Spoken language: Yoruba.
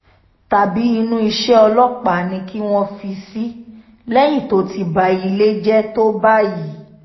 tàbí inú iṣẹ́ ọlọ́pàá ni kí wọ́n fi í sí lẹ́yìn tó ti ba ilé jẹ́ tó báyìí